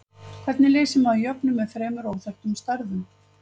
Hvernig leysir maður jöfnu með þremur óþekktum stærðum?